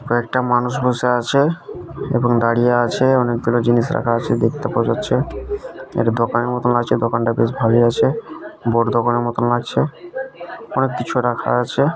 কয়েকটা মানুষ বসে আছে এবং দাঁড়িয়ে আছে অনেকগুলো জিনিস রাখা আছে দেখতে পাওয়া যাচ্ছে একটু দোকান মত আছে দোকানটা বেশ ভালই আছে। বড়ো দোকানের মতো লাগছে আর কিছু রাখা আছে।